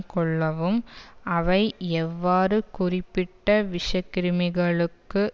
கொள்ளவும் அவை எவ்வாறு குறிப்பிட்ட விஷக்கிருமிகளுக்கு